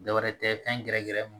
Dɔ wɛrɛ tɛ fɛn gɛrɛ gɛrɛ mun